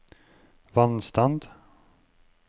vannstand